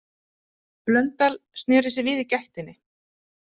Blöndal sneri sér við í gættinni.